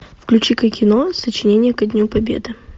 включи ка кино сочинение ко дню победы